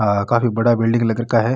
आ काफी बड़ा बिलडिंग लग रखा है।